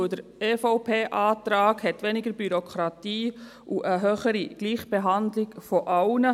Denn der EVP-Antrag bringt weniger Bürokratie und eine höhere Gleichbehandlung aller.